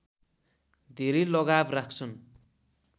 धेरै लगाव राख्छन्